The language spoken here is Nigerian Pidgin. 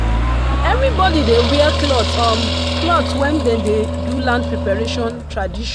everybody dey wear clean um cloth when dem dey do land preparation tradition.